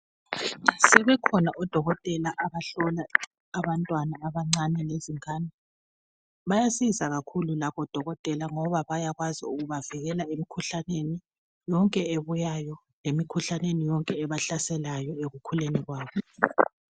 Sebekhona odokotela abahlola abantwana abancane lezingane. bayasiza kakhulu labodokotela ngoba bayakwazi ukubavikela emikhuhlaneni yonke ebuyayo lemikhuhlaneni yonke ebahlaselayo ekukhuleni kwabo.